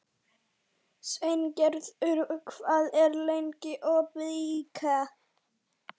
Sveingerður, hvað er lengi opið í IKEA?